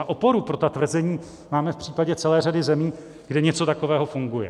A oporu pro ta tvrzení máme v případě celé řadě zemí, kde něco takového funguje.